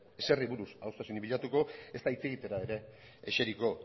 ezeri buruz adostasunik bilatuko ezta hitz egitera ere eseriko